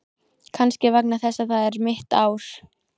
Kannski vegna þess að það er mitt ár.